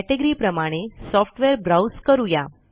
category प्रमाणे software browse करू या